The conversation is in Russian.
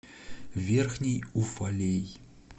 верхний уфалей